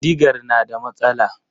Digar na da matsala.